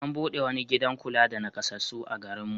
An buɗe wani gidan kula da naƙasassu a garin mu.